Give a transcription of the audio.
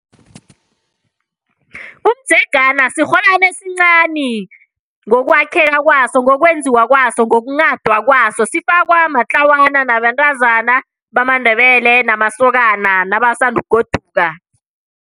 Umdzegana sirholwani esincani ngokwakheka kwaso, ngokwenziwa kwaso, ngokunghadwa kwaso. Sifaka matlawana, nabentazana bamaNdebele, namasokana nabasandukugoduka.